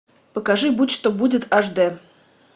покажи будь что будет аш д